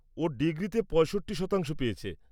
ও ডিগ্রি-তে ৬৫ শতাংশ পেয়েছে।